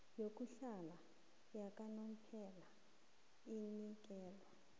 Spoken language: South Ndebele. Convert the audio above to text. yokuhlala yakanomphela inikelwa